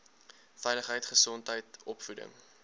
veiligheid gesondheid opvoeding